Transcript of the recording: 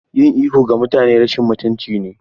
Yin ihu ga mutane rashin mutunci ne.